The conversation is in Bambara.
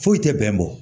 Foyi tɛ bɛn bɔ